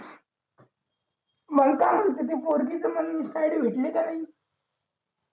मला काय म्हणतो ती पोरगीच insta ID भेटली का नाही